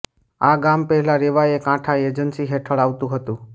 આ ગામ પહેલા રેવાએ કાંઠા એજન્સી હેઠળ આવતું હતું